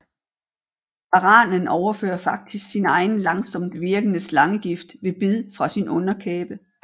Varanen overfører faktisk sin egen langsomtvirkende slangegift ved bid fra sin underkæbe